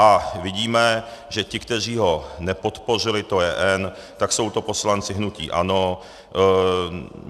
A vidíme, že ti, kteří ho nepodpořili, to je N, tak jsou to poslanci hnutí ANO.